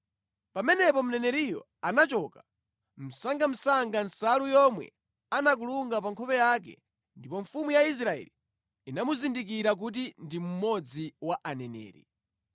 Pamenepo mneneriyo anachotsa msangamsanga nsalu yomwe anakulunga pa nkhope yake, ndipo mfumu ya Israeli inamuzindikira kuti ndi mmodzi mwa aneneri.